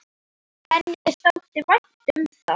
Henni þótti vænt um það.